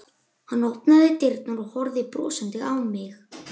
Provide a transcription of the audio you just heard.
Hann opnaði dyrnar og horfði brosandi á mig.